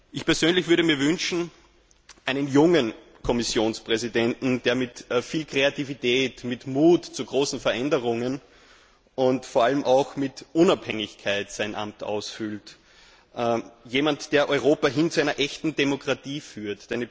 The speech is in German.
Ich persönlich würde mir einen jungen Kommissionspräsidenten wünschen, der sein Amt mit viel Kreativität, mit Mut zu großen Veränderungen und vor allem auch mit Unabhängigkeit ausfüllt, jemand, der Europa hin zu einer echten Demokratie führt.